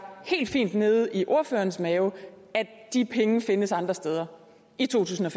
helt fint nede i ordførerens mave at de penge findes andre steder i totusinde